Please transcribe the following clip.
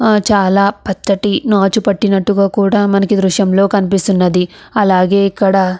చాలా పచ్చటి నాచు పట్టినట్టుగా కూడా ఈ దృశ్యంలో కనిపిస్తున్నది. అలాగే ఇక్కడ--